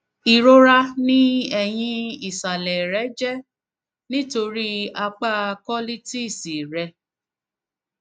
irora ní ẹyìn isàlè rẹ jẹ nítorí apá colitis rẹ